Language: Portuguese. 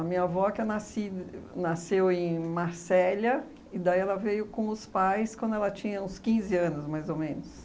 A minha avó, que é nasci nasceu em Marselha, e daí ela veio com os pais quando ela tinha uns quinze anos, mais ou menos.